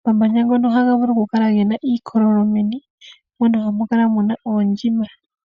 Omamanya ngono ohaga vulu okukala gena iikololo meni, mono hamu kala muna oondjima.